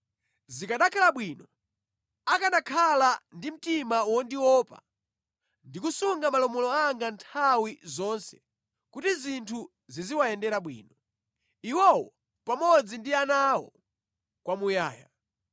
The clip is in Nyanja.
Zikanakhala bwino akanakhala ndi mtima wondiopa ndi kusunga malamulo anga nthawi zonse kuti zinthu ziziwayendera bwino, iwowo pamodzi ndi ana awo kwamuyaya.